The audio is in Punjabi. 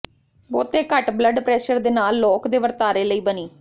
ਬਹੁਤੇ ਘੱਟ ਬਲੱਡ ਪ੍ਰੈਸ਼ਰ ਦੇ ਨਾਲ ਲੋਕ ਦੇ ਵਰਤਾਰੇ ਲਈ ਬਣੀ